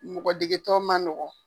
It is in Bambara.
Mɔgɔ dege tɔn man nɔgɔn.